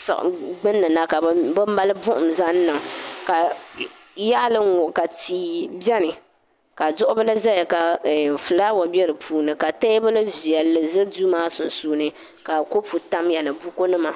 siɤi gbunni na ka bɛ malli buɤum zaŋ niŋ ka yaɤili n-ŋɔ ka tia bɛni ka duɤubila ʒeya ka ɛɛ fulaawa be di puuni ka teebuli viɛli ʒe duu maa sunsuuni ka kɔpu tamya ni bukunima